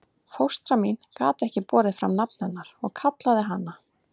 Fóstra mín gat ekki borið fram nafn hennar og kallaði hana